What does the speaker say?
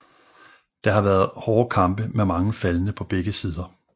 Der har været hårde kampe med mange faldne på begge sider